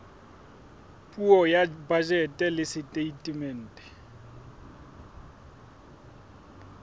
puo ya bajete le setatemente